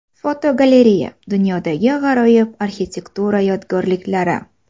Fotogalereya: Dunyodagi g‘aroyib arxitektura yodgorliklari.